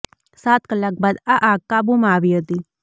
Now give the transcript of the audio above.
સાત કલાક બાદ આ આગ કાબુમાં આવી હતી